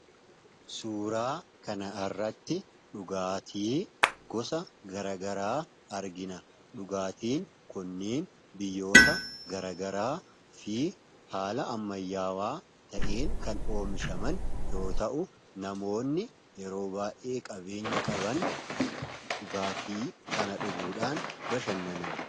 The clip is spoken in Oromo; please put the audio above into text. Suuraa kanarratti dhugaatii gosa garaagaraa argina. Dhugaatiin kunniin biyyoota garagaraa fi haala ammayyaawaa ta'een kan oomishaman yoo ta'u, namoonni yeroo baay'ee qabeenya qaban dhugaatii kana dhuguudhaan bashannanu.